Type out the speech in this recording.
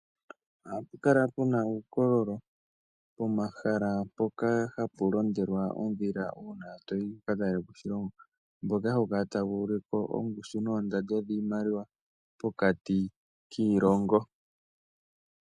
Ohapu kala puna uukololo pomahala mpoka hapu londelwa oondhila uuna toyi wuka talelepo oshilongo mboka hawu kala tawu ulike ondando yoshimaliwa pokati kiilongo.